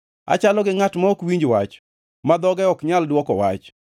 Achalo gi ngʼat ma ok winj wach, ma dhoge ok nyal dwoko wach.